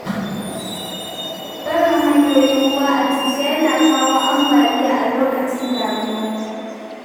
Barin hanyoyin ruwa a cushe yana kawo ambaliya a lokacin damina